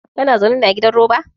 Kana zaune ne a gidan roba?